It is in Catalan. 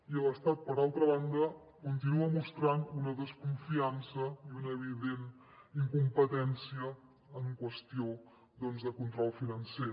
i l’estat per altra banda continua mostrant una desconfiança i una evident incompetència en qüestió doncs de control financer